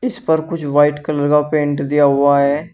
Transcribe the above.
इस पर कुछ व्हाइट कलर का पेंट दिया हुआ है।